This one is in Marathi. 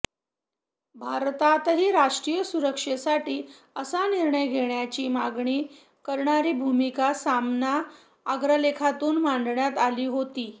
भारतातही राष्ट्रीय सुरक्षेसाठी असा निर्णय घेण्याची मागणी करणारी भूमिका सामना अग्रलेखातून मांडण्यात आली होती